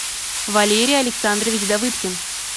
валерий александрович давыдкин